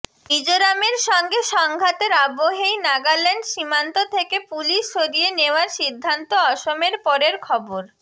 মিজোরামের সঙ্গে সংঘাতের আবহেই নাগাল্যান্ড সীমান্ত থেকে পুলিশ সরিয়ে নেওয়ার সিদ্ধান্ত অসমের পরের খবর